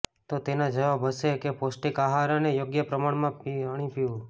તો તેનો જવાબ હશે કે પોષ્ટિક આહાર અને યોગ્ય પ્રમાણમાં પાણી પીવું